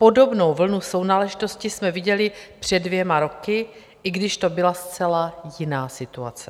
Podobnou vlnu sounáležitosti jsme viděli před dvěma roky, i když to byla zcela jiná situace.